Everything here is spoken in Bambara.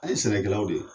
An ye sɛnɛkɛlaw de ye